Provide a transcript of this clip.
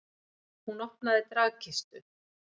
Hún opnaði dragkistu.